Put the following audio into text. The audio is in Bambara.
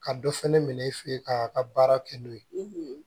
Ka dɔ fɛnɛ minɛ i fɛ yen ka baara kɛ n'o ye